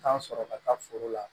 Tan sɔrɔ ka taa foro la